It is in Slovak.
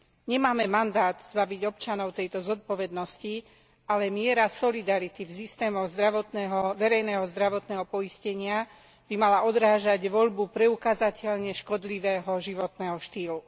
Nemáme mandát zbaviť občanov tejto zodpovednosti, ale miera solidarity v systémoch verejného zdravotného poistenia by mala odrážať voľbu preukázateľne škodlivého životného štýlu.